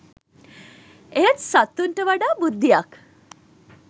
එහෙත් සතුන්ට වඩා බුද්ධියක්